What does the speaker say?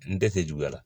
N tɛ fɛ juguya la